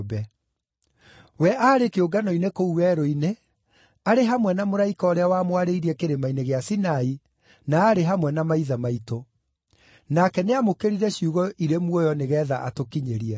We aarĩ kĩũngano-inĩ kũu werũ-inĩ, arĩ hamwe na mũraika ũrĩa wamwarĩirie Kĩrĩma-inĩ gĩa Sinai, na aarĩ hamwe na maithe maitũ; nake nĩamũkĩrire ciugo irĩ muoyo nĩgeetha atũkinyĩrie.